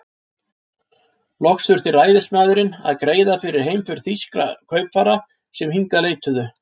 Loks þurfti ræðismaðurinn að greiða fyrir heimför þýskra kaupfara, sem hingað leituðu.